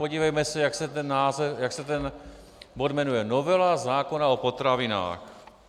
Podívejme se, jak se ten bod jmenuje - novela zákona o potravinách.